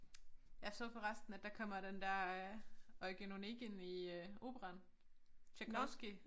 Jeg så forresten at der kommer den der øh Eugen Onegin i øh operaen Tjajkovskij